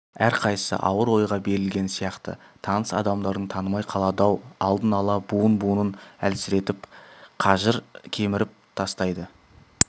әрқайсысы ауыр ойға берілген сияқты таныс адамдарың танымай қалады-ау алдын ала буын-буынын әлсіретіп қажыр кеміріп тастайды